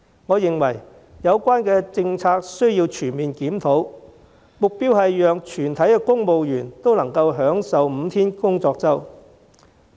我認為有關政策需要全面檢討，目標是讓全體公務員都能享受5天工作周。